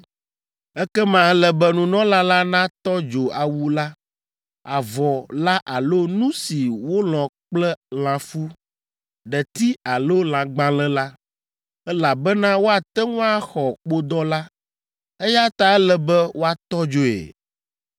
Ekema ele be nunɔla la natɔ dzo awu la, avɔ la alo nu si wolɔ̃ kple lãfu, ɖeti alo lãgbalẽ la, elabena woate ŋu axɔ kpodɔ la, eya ta ele be woatɔ dzoe.